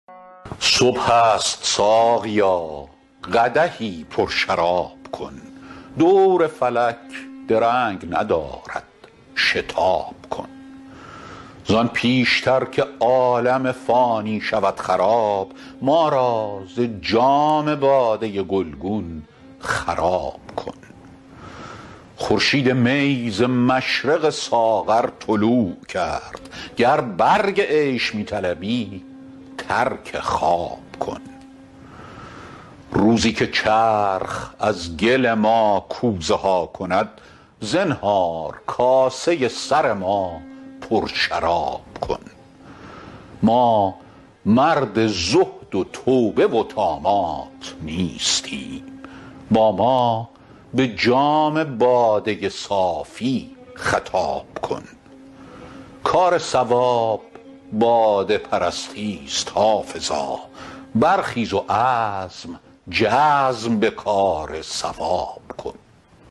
صبح است ساقیا قدحی پرشراب کن دور فلک درنگ ندارد شتاب کن زان پیش تر که عالم فانی شود خراب ما را ز جام باده گلگون خراب کن خورشید می ز مشرق ساغر طلوع کرد گر برگ عیش می طلبی ترک خواب کن روزی که چرخ از گل ما کوزه ها کند زنهار کاسه سر ما پرشراب کن ما مرد زهد و توبه و طامات نیستیم با ما به جام باده صافی خطاب کن کار صواب باده پرستی ست حافظا برخیز و عزم جزم به کار صواب کن